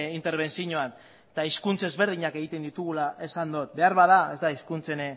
interbentzioan eta hizkuntz ezberdinak egiten ditugula esan dut beharbada ez da hizkuntzen